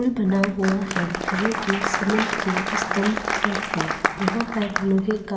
पुल बना हुआ है जो कि सीमेंट के स्तंभ पर है यहां पर लोहे का --